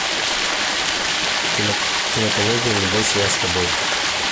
кинокомедия не бойся я с тобой